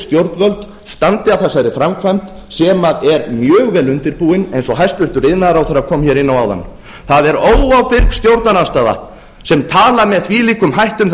stjórnvöld standi að þessari framkvæmd sem er mjög vel undirbúin eins og hæstvirtur iðnaðarráðherra kom hér inn á áðan það er óábyrg stjórnarandstaða sem talar með þvílíkum hætti um